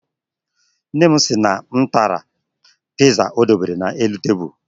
Nne m sị na m tara Piiza o debere n'elu tebulu.